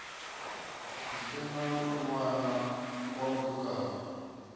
si na ṋwana wa mutukana